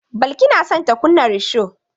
Balki na son ta kunna risho.